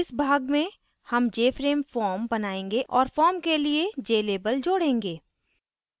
इस भाग में हम jframe form बनायेंगे और form के लिए jlabel जोडेंगे